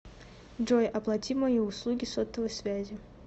джой оплати мои услуги сотовой связи